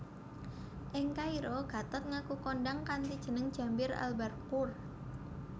Ing Kairo Gatot ngaku kondhang kanthi jeneng Jambir Al Barqur